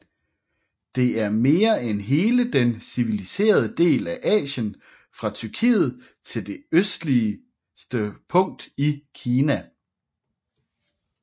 Det er mere end hele den civiliserede del af Asien fra Tyrkiet til det østligste punkt i Kina